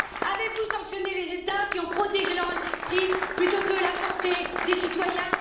Avez vous sanctionné les États qui ont protégé leur industrie plutôt que la santé des citoyens?